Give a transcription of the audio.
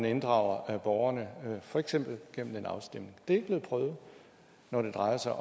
inddrage borgerne for eksempel gennem en afstemning det er ikke blevet prøvet når det drejer sig